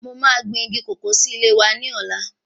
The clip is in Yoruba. Mo ma gbìn igi kòkó sí ilé wa ní ọ̀la